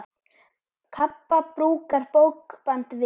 Kappa brúkar bókband við.